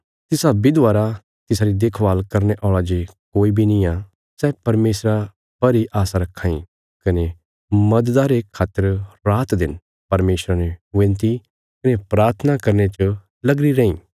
तिसा विधवा रा तिसारी देखभाल करने औल़ा जे कोई बी नींआ सै परमेशरा पर इ आशा रखां इ कने मददा रे खातर रातदिन परमेशरा ने विनती कने प्राथना करने च लगीरी रैईं